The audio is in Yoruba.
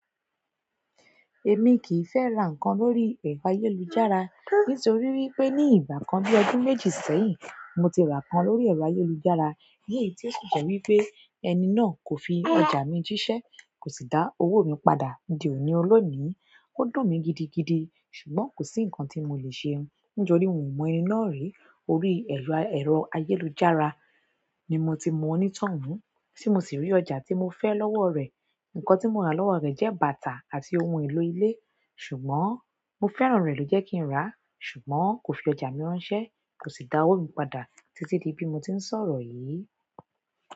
Emi ki i fẹ ra nǹkan lórí ẹrọ ayélujára nítorí wípé ni ìgbà kan bi ọdún méjì sẹ́yìn mo ti ra nǹkan lórí ayélujára ni èyí ti o jẹ wípé ẹni náà ko fi ọjà mi jisẹ kosi da owo mi padà di òní olónìí, ó dùn mí gidigidi ṣùgbọ́n kò sí ǹkan tí mo le ṣe. Níjorí wàn mọ ẹni náà rí. Orí ẹ̀rọ ayélujára ni mo ti mọ onítọun, tí mo sì rí ọjà tí mo fẹ́ lọ́wọ́ rẹ̀. Ǹkan tí mo rà lọ́wọ́ rẹ̀ jẹ́ bàtà àti ohun èlò ilé. Ṣùgbọ́n mo fẹ́ran rẹ̀ ló jẹ́ kí n ra, ṣùgbọ́n kò fi ọjà mi ránṣẹ́, kò sì dá owó mi padà títí di bí mo ti ń sọ̀rọ̀ yìí.